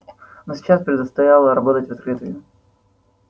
но сейчас предстояло работать в открытую